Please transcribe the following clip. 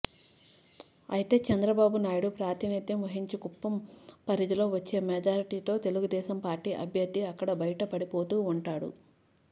అయితే చంద్రబాబు నాయుడు ప్రాతినిధ్యం వహించే కుప్పం పరిధిలో వచ్చే మెజారిటీతో తెలుగుదేశం పార్టీ అభ్యర్థి అక్కడ బయటపడిపోతూ ఉంటాడు